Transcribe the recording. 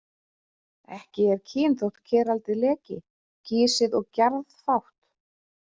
Ekkert er kyn þótt keraldið leki, gisið og gjarðfátt.